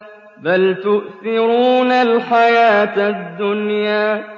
بَلْ تُؤْثِرُونَ الْحَيَاةَ الدُّنْيَا